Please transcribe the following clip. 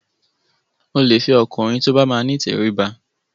Mo lè fẹ ọkùnrin tó bá máa ni ìtẹríba.